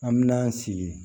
An me n'an sigi